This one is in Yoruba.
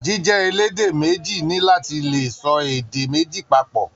Jíjẹ elédè méjì ni láti lè sọ èdè méjì papọ.